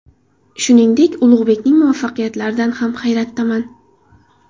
Shuningdek, Ulug‘bekning muvaffaqiyatlaridan ham hayratdaman.